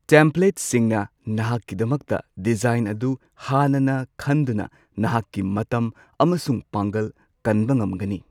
ꯇꯦꯝꯄ꯭ꯂꯦꯠꯁꯤꯡꯅ ꯅꯍꯥꯛꯀꯤꯗꯃꯛꯇ ꯗꯤꯖꯥꯏꯟ ꯑꯗꯨ ꯍꯥꯟꯅꯅ ꯈꯟꯗꯨꯅ ꯅꯍꯥꯛꯀꯤ ꯃꯇꯝ ꯑꯃꯁꯨꯡ ꯄꯥꯡꯒꯜ ꯀꯟꯕ ꯉꯝꯒꯅꯤ꯫